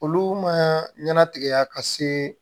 Olu ma ɲɛna tigɛ ka se